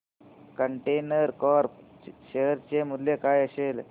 container Corp share चे मूल्य काय असेल